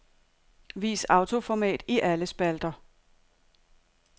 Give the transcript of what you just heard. Vis autoformat i alle spalter.